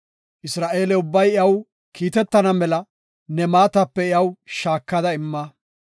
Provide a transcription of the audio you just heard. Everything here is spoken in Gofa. Isra7eele ubbay iyaw kiitetana mela ne maatape iyaw shaakada imma.